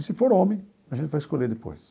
E se for homem, a gente vai escolher depois.